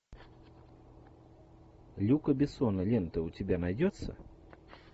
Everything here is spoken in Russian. люка бессона лента у тебя найдется